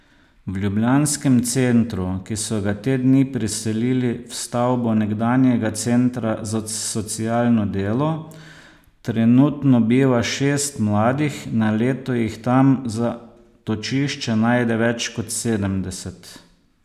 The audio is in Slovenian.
V ljubljanskem centru, ki so ga te dni preselili v stavbo nekdanjega centra za socialno delo, trenutno biva šest mladih, na leto jih tam zatočišče najde več kot sedemdeset.